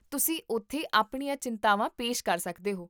ਤੁਸੀਂ ਉੱਥੇ ਆਪਣੀਆਂ ਚਿੰਤਾਵਾਂ ਪੇਸ਼ ਕਰ ਸਕਦੇ ਹੋ